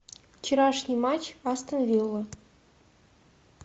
вчерашний матч астон виллы